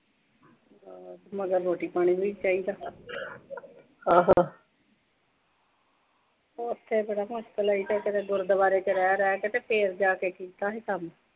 ਹਮ ਮਗਰ ਰੋਟੀ-ਪਾਣੀ ਨੂੰ ਵੀ ਕੋਈ ਚਾਹੀਦਾ ਉਥੇ ਤਾਂ ਬੜੀ ਮੁਸ਼ਕਿਲ ਆਈ ਫਿਰ ਉਥੇ ਗੁਰਦੁਆਰੇ ਚ ਰਹਿ ਰਹਿ ਕੇ ਕਿਤੇ ਫੇਰ ਜਾ ਕੇ ਕੀਤਾ ਸੀ ਕੰਮ।